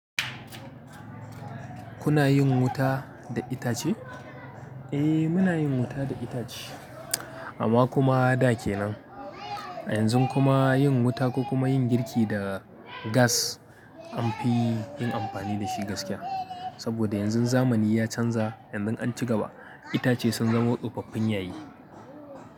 Kuna yin wuta da itace? Eh muna yin wuta da itace amma kuma da ke nan. A yanzun kuma yin wuta ko kuma yin girki da gas an fi yin amfani da shi gaskiya. Saboda yanzu zamani ya canza yanzu an ci gaba itace sun zamu tsofaffin yayi.